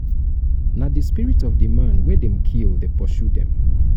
na di spirit of di man wey dem kill dey pursue dem.